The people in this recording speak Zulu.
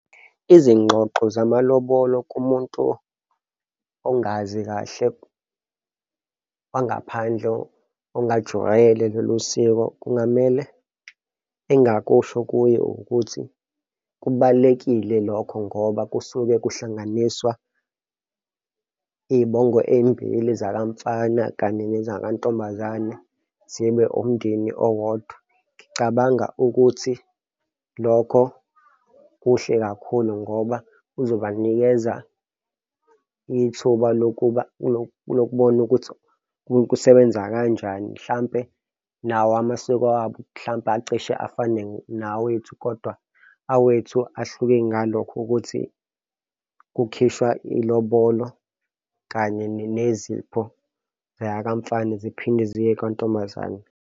Izingxoxo zamalobolo kumuntu ongazi kahle kwangaphandle ongalijwayele lolu siko kungamele engakusho kuye ukuthi kubalulekile lokho ngoba kusuke kuhlanganiswa iy'bongo ey'mbili zaka mfana kanye nezaka ntombazane zibe umndeni owodwa. Ngicabanga ukuthi lokho kuhle kakhulu ngoba kuzobanikeza ithuba lokuba lokubona ukuthi kusebenza kanjani, mhlampe nawo amasiko abo mhlampe acishe afane nawethu, kodwa awethu ahluke ngalokho ukuthi kukhishwa ilobolo, kanye nezipho ziya kamfana ziphinde ziye kantombazane.